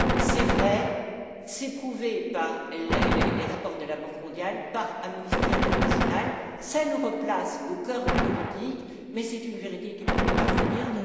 C'est vrai, c'est prouvé par les rapports de la Banque mondiale, par Amnesty International, ça nous replace au cœur du politique mais c'est une vérité qu'il faut parfois dire.